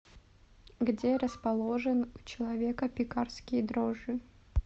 где расположен у человека пекарские дрожжи